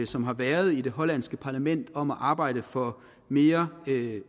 som har været i det hollandske parlament om at arbejde for mere